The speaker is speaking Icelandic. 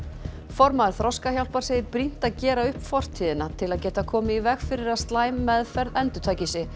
formaður Þroskahjálpar segir brýnt að gera upp fortíðina til að geta komið í veg fyrir að slæm meðferð endurtaki sig